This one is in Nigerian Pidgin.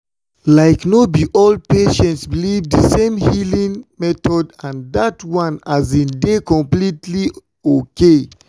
like no be all patients believe the same healing method and that one um dey completely okay.